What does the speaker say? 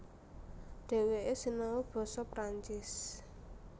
Dhèwèké sinau basa Perancis